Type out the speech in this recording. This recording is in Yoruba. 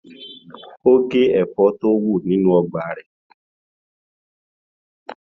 Ó gé ẹ̀fọ́ tí ó wù nínú ọgbà rẹ̀.